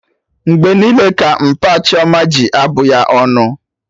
Mgbe niile ka mpa Chioma ji abụ ya ọnụ